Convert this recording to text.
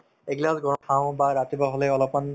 এগিলাচ গৰম খাওঁ বা ৰাতিপুৱা হলে অলপমান